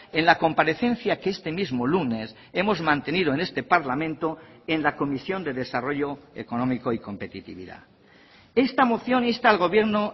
en la comparecencia que este mismo lunes hemos mantenido en este parlamento en la comisión de desarrollo económico y competitividad esta moción insta al gobierno